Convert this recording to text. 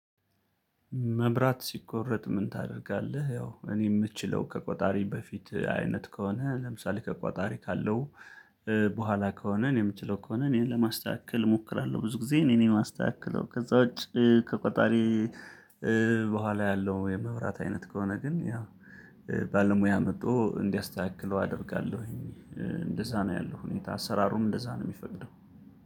መብራት ሲቆረጥ ምን ታደርጋለህ? ያው እኔ የምትችለው ከቆጣሪ በፊት አይነት ከሆነ ለምሳሌ ከቋጣሪ ካለው በኋላ ከሆነ እኔ የምችለው ከሆነ እኔን ለማስተካከል እሞክራለሁ። ብዙ ጊዜ እኔን የማስተካክለው ከዛ ውጪ ከቆጣሪ በኋላ ያለው ወይም መብራት አይነት ከሆነ ግን ያ ባለሙያ መጥቶ እንዲያስተካክለው አደርጋለሁኝ። እንደዛ ነው ያለው ሁኔታ አሰራሩም እንደዛ ነው የሚፈቅደው።